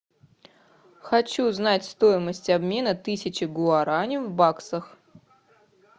хочу знать стоимость обмена тысячи гуарани в баксах